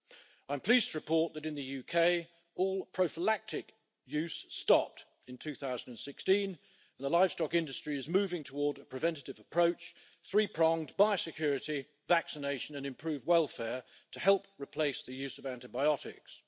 I am pleased to report that in the UK, all prophylactic use stopped in 2016 and the livestock industry is moving towards a preventative approach three pronged by security, vaccination and improved welfare to help replace the use of antibiotics.